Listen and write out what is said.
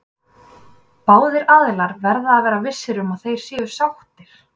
Báðir aðilar verða að vera vissir um að þeir séu sáttir.